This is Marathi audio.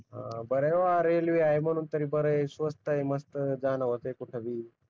अं बर आहे वा रेलवे आहे म्हणून तरी बर आहे स्वस्त आहे मस्त जान होते कुठेबी